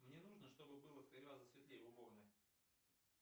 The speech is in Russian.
мне нужно чтобы было в три раза светлее в уборной